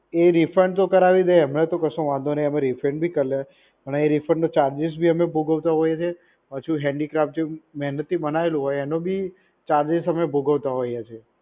એ refund તો કરાવી દે એમાં તો કશો વાંધો નહિ અમેં refund ભી કરીએ પણ એ refund નો charges ભી અમે ભોગવતા હોયીએ છીએ પાછો handicraft જે મહેનત થી બનાવેલું હોય એનો ભી charges અમે ભોગવતા હોયીએ છીએ